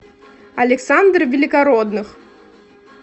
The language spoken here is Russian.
александр великородных